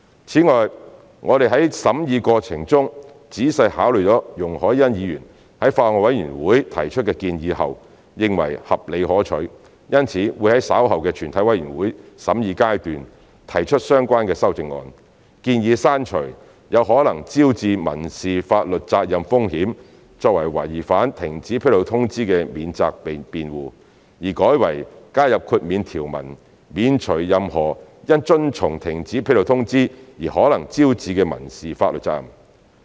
此外，我們在審議過程中仔細考慮了容海恩議員在法案委員會提出的建議後，認為合理可取，因此會在稍後的全體委員會審議階段提出相關修正案，建議刪除有可能招致民事法律責任風險作為違反停止披露通知的免責辯護，而改為加入豁免條文，免除任何因遵從停止披露通知而可能招致的民事法律責任。